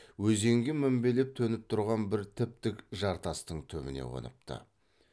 өзенге мінбелеп төніп тұрған бір тіп тік жартастың түбіне қоныпты